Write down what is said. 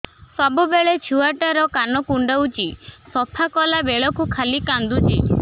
ସବୁବେଳେ ଛୁଆ ଟା କାନ କୁଣ୍ଡଉଚି ସଫା କଲା ବେଳକୁ ଖାଲି କାନ୍ଦୁଚି